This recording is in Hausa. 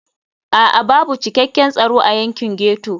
A'a babu cikakken tsaro a yankin ghetto.